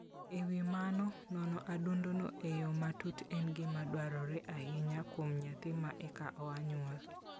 E wi mano, nono adundono e yo matut en gima dwarore ahinya kuom nyathi ma eka oa nyuol.